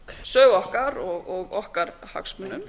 sögu okkar og okkar hagsmunum